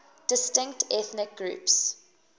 distinct ethnic groups